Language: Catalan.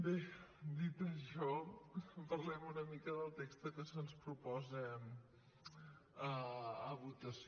bé dit això parlem una mica del text que se’ns propo·sa a votació